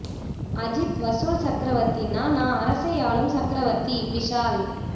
அஜித் வசூல் சக்கரவர்த்தினா நான் அரசை ஆளும் சக்கரவர்த்தி விஷால்